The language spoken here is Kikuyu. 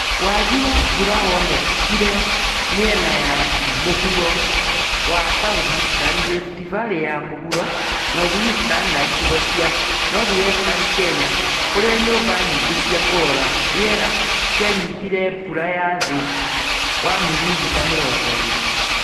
Wagi wa mbura wonekire mĩena ya mũhuro kĩa Southeastern, Rift Valley ya mũhuro, Northeastern, na icigo cia Northwestern Kenya kũrĩa nyũmba nyingĩ cia kũrora rĩera cianyitire mbura ya thĩ wa mirimita mĩrongo ĩĩrĩ